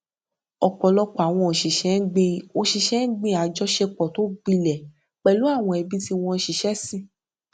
ọpọlọpọ àwọn òṣìṣẹ gbin òṣìṣẹ gbin àjọṣepọ tó gbilẹ pẹlú àwọn ẹbí tí wọn ṣiṣẹ sìn